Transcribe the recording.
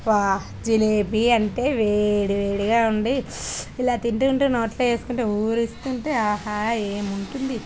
అబ్బా జెలిబి అంటే వేడి వేడిగా ఉంది ఇలా తింటుంటే నోట్లో వేసుకుంటే అహహ ఏం ఉంటుంది.